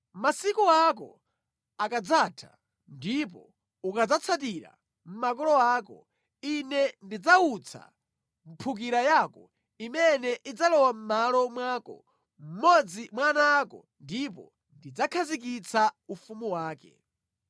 Masiku ako akadzatha ndipo ukadzatsatira makolo ako, Ine ndidzawutsa mphukira yako imene idzalowa mʼmalo mwako, mmodzi mwa ana ako, ndipo ndidzakhazikitsa ufumu wake.